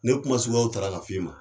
Nin kuma suguyaw tara ka f'i ma